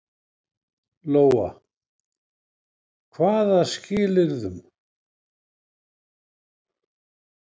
Lóa: Hvaða skilyrðum?